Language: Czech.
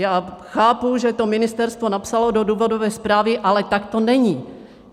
Já chápu, že to ministerstvo napsalo do důvodové zprávy, ale tak to není.